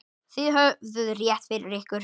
Þið höfðuð rétt fyrir ykkur.